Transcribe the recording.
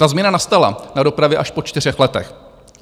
Ta změna nastala na dopravě až po čtyřech letech.